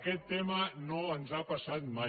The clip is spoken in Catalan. aquest tema no ens ha passat mai